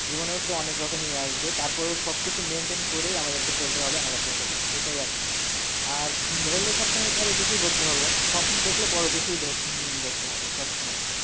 জীবনের প্রতি অনেক রকম ইয়ে আসবে, তার পরেও সব কিছু maintain করেই আমাদেরকে চলতে হবে, আগাতে হবে, এটাই আর কি। আর ধরলে সব সময়ই বড় কিছুই ধরতে হবে, স্বপ্ন দেখলে বড় কিছুই দে- উম দেখতে হবে, সব সময়ই।